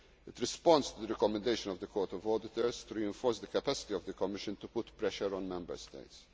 by Member States. It responds to the recommendation of the Court of Auditors to reinforce the capacity of the Commission to put pressure